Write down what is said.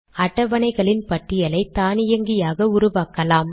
அட்டவணைகளின் பட்டியலை தானியங்கியாக உருவாக்கலாம்